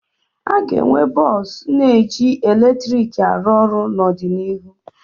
Aga enwe bọsụ na eji eletrik arụ ọrụ n'ọdịnihu